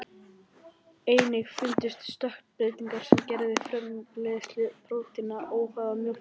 Einnig fundust stökkbreytingar sem gerðu framleiðslu prótínanna óháða mjólkursykrinum.